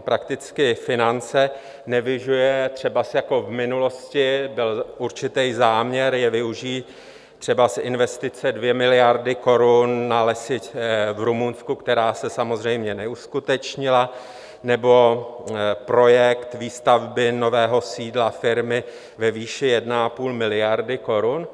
prakticky finance nevyužije, třebas jako v minulosti byl určitý záměr je využít, třebas investice 2 miliardy korun na lesy v Rumunsku, která se samozřejmě neuskutečnila, nebo projekt výstavby nového sídla firmy ve výši 1,5 miliardy korun?